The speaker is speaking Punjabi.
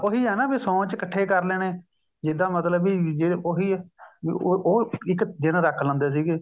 ਉਹੀ ਆ ਨਾ ਫ਼ਿਰ ਸੋਣ ਵਿੱਚ ਇੱਕਠੇ ਕਰ ਲੈਣੇ ਜਿੱਦਾਂ ਮਤਲਬ ਵੀ ਜੇ ਉਹੀ ਹੈ ਵੀ ਉਹ ਇੱਕ ਦਿੰਨ ਰੱਖ ਲੈਂਦੇ ਸੀਗੇ